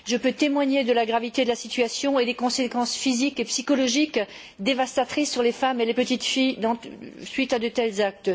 Je peux témoigner de la gravité de la situation et des conséquences physiques et psychologiques dévastatrices sur les femmes et les petites filles suite à de tels actes.